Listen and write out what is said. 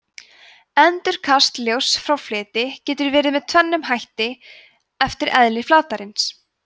endurkast ljóss frá fleti getur verið með tvennum hætti eftir eðli flatarins